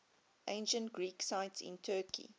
ancient greek sites in turkey